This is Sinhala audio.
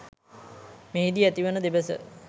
මෙහිදී ඇතිවන දෙබස